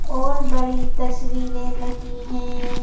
और बड़ी तस्वीरें लगी हैं।